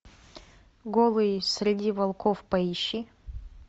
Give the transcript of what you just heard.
голые среди волков поищи